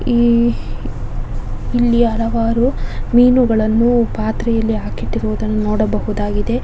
ಈ ಇಲ್ಲಿ ಹಲವಾರು ಮೀನುಗಳನ್ನು ಪಾತ್ರೆಯಲ್ಲಿ ಹಾಕಿ ಇಟ್ಟಿರುವುದನ್ನು ನೋಡಬಹುದಾಗಿದೆ.